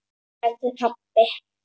sagði pabbi.